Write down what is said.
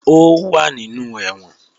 Ó wà nínú ẹ̀wọ̀n